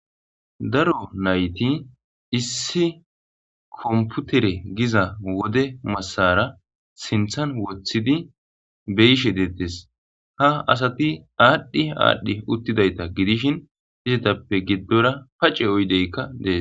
Daro nayti issi komputere giza wode masara sinththan woththidi be'ishe de'etes ha asati aadhi aadhi uttidayta gidishin izetappe giddora pace oydeykka de'es.